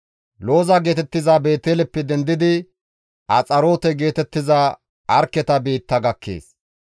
Looza geetettiza Beeteleppe dendidi Axaroote geetettiza Arkketa biitta gakkees.